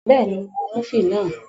Bẹ́ẹ̀ni, mo wo múfì náà